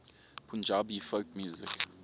punjabi folk music